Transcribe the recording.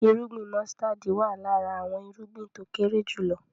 Irúgbìn músítádì wá lára àwọn irúgbìn tó kéré jùlọ